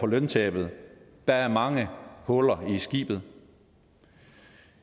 løntabet der er mange huller i skibet